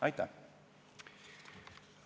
Aitäh!